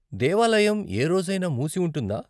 దేవాలయం ఏ రోజైనా మూసి ఉంటుందా?